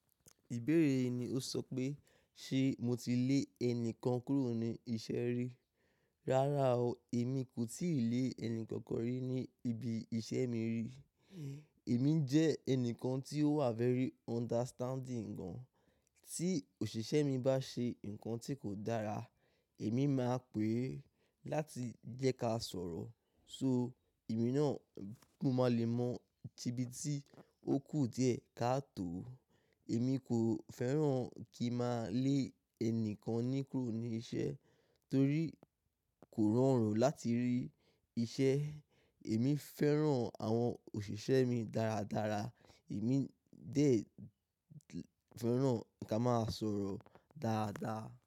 Ìbéèrè yìí ni ó sọ pé, ṣe mo ti lé ẹni kan kúrò ní iṣẹ́ rí? Rárá o, èmi kò ti lé ẹni kankan rí ní ibi iṣẹ́ mi rí. Èmi jẹ́ ẹnìkan tí ó wà very understanding gan. Tí òṣìṣẹ́ mi bá ṣe nǹkan tí kò dára, èmi máa pè é láti jẹ́ ká sọ̀rọ̀. So èmi náà mo máa le mọ ibi tí ó kù díẹ̀ ká tò ó. Èmi kò fẹ́ràn kí a máa lé ẹni kan ní kúrò ní iṣẹ́ torí kò rọrùn láti rí iṣẹ́. Èmi fẹ́ràn àwọn òṣìṣẹ́ mi dáradára, èmi dé fẹ́ràn kí a máa sọ̀rọ̀ dáadáa.